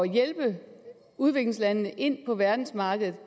hjælpe udviklingslandene ind på verdensmarkedet